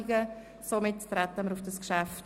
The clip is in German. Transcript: Damit ist Eintreten stillschweigend beschlossen